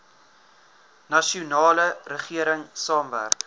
nasionale regering saamwerk